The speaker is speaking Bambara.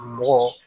Mɔgɔ